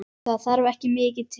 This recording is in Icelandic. Það þarf ekki mikið til?